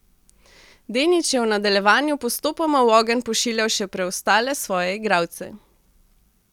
Denić je v nadaljevanju postopoma v ogenj pošiljal še preostale svoje igralce.